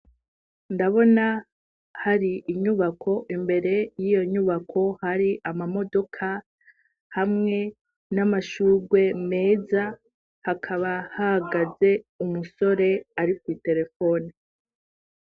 Ndabona hari inyubako imbere y'iyo nyubako hari amamodoka hamwe n'amashurwe meza hakaba hagaze umusore ari kuri terefone.